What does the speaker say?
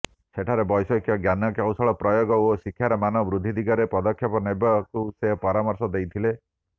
ସେଠାରେ ବୈଷୟିକ ଜ୍ଞାନକୌଶଳ ପ୍ରୟୋଗ ଓ ଶିକ୍ଷାର ମାନ ବୃଦ୍ଧି ଦିଗରେ ପଦକ୍ଷେପ ନେବାକୁ ସେ ପରାମର୍ଶ ଦେଇଥିଲେ